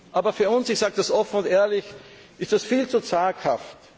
Aber für uns ich sage das offen und ehrlich ist das viel zu zaghaft.